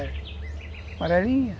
É. Amarelinha...